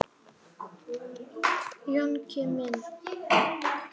Jónki minn.